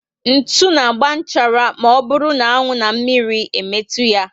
Ntụ na agba nchara ma ọ bụrụ na anwụ na mmírí metu ya